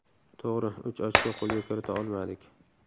To‘g‘ri, uch ochko qo‘lga kirita olmadik.